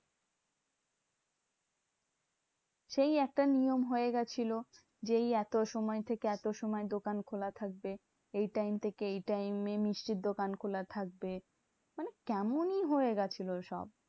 সেই একটা নিয়ম হয়ে গেছিলো, যেই এত সময় থেকে এত সময় দোকান খোলা থাকবে। এই time থেকে এই time এ মিষ্টির দোকান খোলা থাকবে। মানে কেমনই হয়ে গেছিলো সব।